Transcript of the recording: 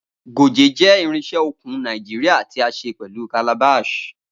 Goje jẹ irinse okun Naijiria ti a ṣe pẹlu calabash.